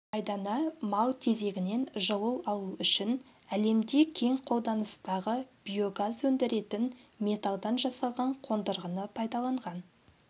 айдана мал тезегінен жылу алу үшін әлемде кең қолданыстағы биогаз өндіретін металдан жасалған қондырғыны пайдаланған